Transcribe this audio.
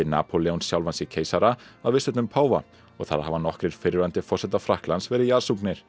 Napóleon sjálfan sig keisara að viðstöddum páfa og þar hafa nokkrir fyrrverandi forsetar Frakklands verið